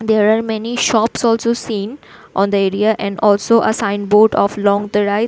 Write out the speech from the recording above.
There are many shops also seen on the area and also a sign board of longorai.